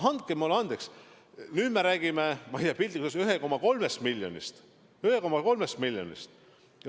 Andke mulle andeks, me räägime piltlikult 1,3 miljonist inimesest.